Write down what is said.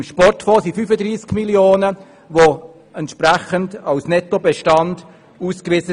Beim Sportfonds sind 35 Mio. Franken als Nettobestand ausgewiesen.